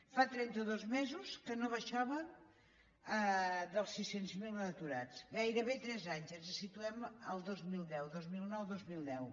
fa trenta dos mesos que no baixàvem dels sis cents miler aturats gairebé tres anys ens situem al dos mil deu dos mil nou dos mil deu